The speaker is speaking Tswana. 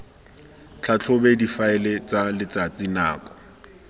tlhatlhobe difaele tsa letsatsi nako